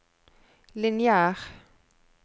lineær